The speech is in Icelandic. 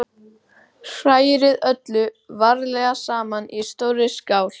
Hrærið öllu varlega saman í stórri skál.